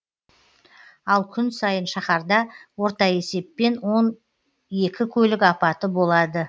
ал күн сайын шаһарда орта есеппен он екі көлік апаты болады